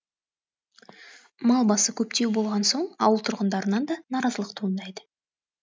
мал басы көптеу болған соң ауыл тұрғындарынан да наразылық туындайды